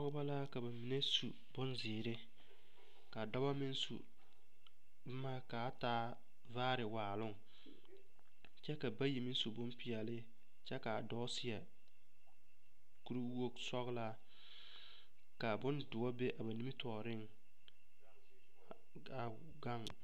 Pɔgeba la ka ba mine su bonzeere k,a dɔba meŋ su boma kaa taa vaare waaloŋ kyɛ ka bayi meŋ su bompeɛle kyɛ k,a dɔɔ seɛ kuriwogisɔglaa ka bondoɔ be a ba nimitɔɔreŋ k,a gaŋ.